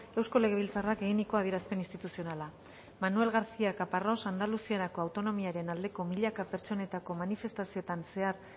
eusko legebiltzarrak eginiko adierazpen instituzionala manuel garcía caparros andaluziarako autonomiaren aldeko milaka pertsonetako manifestazioetan zehar